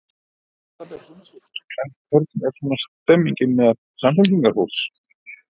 Erla Björg Gunnarsdóttir: En hvernig er svona stemningin meðal Samfylkingarfólks?